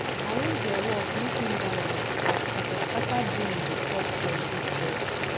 arrange your work mek im balance as skataskata brain dey cause plenti stress